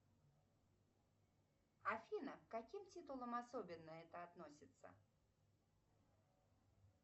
афина к каким титулам особенно это относится